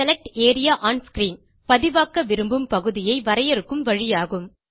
select area one screen பதிவாக்க விரும்பும் பகுதியை வரையறுக்கும் வழியாகும்